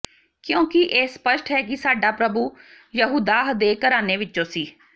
ਕਿਉਂਕਿ ਇਹ ਸਪਸ਼ਟ ਹੈ ਕਿ ਸਾਡਾ ਪ੍ਰਭੂ ਯਹੂਦਾਹ ਦੇ ਘਰਾਣੇ ਵਿੱਚੋਂ ਸੀ